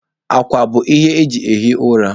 Akwa bụ ihe eji ehi ụra.